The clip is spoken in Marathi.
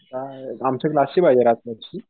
आमच्या क्लासची पाहिजे राठोडची?